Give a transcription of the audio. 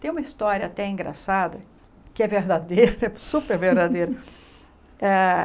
Tem uma história até engraçada, que é verdadeira, super verdadeira. Hã